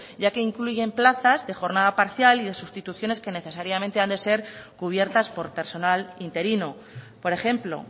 ya que incluye plazas de jornada parcial y de sustituciones que necesariamente han de ser cubiertas por personal interino por ejemplo